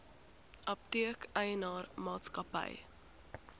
apteek eienaar maatskappy